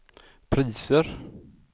priser